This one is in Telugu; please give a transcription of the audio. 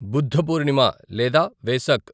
బుద్ధ పూర్ణిమ లేదా వేసక్